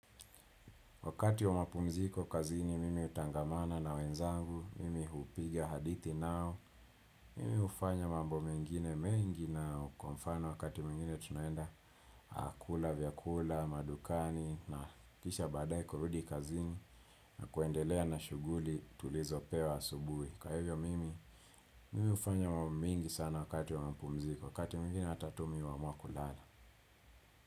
Wakati wa mapumziko kazini mimi hutangamana na wenzangu, mimi hupiga hadithi nao, mimi hufanya mambo mengine mengi nao kwa mfano wakati mwingine tunaenda kula, vyakula, madukani na kisha baadaye kurudi kazini na kuendelea na shughuli tulizo pewa asubuhi. Kwa hivyo mimi, mimi hufanya mambo mingi sana wakati wa mapumziko, wakati mwingine hata tu mimi huamua kulala.